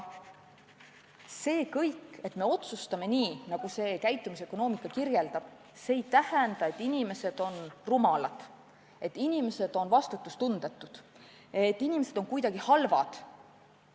See, et me otsustame nii, nagu käitumisökonoomika soovitab, ei tähenda, et inimesed on rumalad, et inimesed on vastutustundetud, et inimesed on kuidagi halvad.